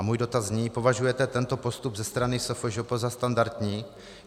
A můj dotaz zní: Považujete tento postup ze strany SFŽP za standardní?